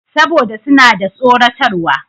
Saboda suna da tsoratarwa.